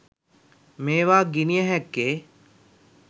මේවා ගිණිය හැක්කේ